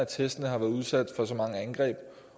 testene har været udsat for mange angreb